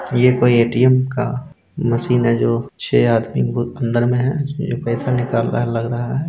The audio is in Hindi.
ये कोई एटीएम का मशीन है जो छे आदमी को अंदर में है जो पैसा निकाल रहा है लग रहा है।